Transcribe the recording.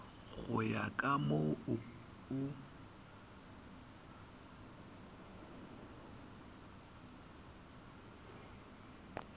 go ya ka moo o